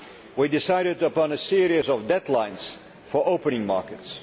We decided upon a series of deadlines for opening markets.